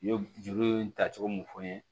Ye juru ye tacogo mun fɔ n ye